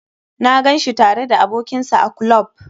Na gan shi tare da abokin sa a klub.